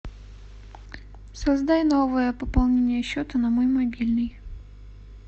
создай новое пополнение счета на мой мобильный